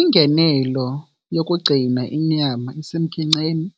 Ingenelo yokugcina inyama isemkhenkceni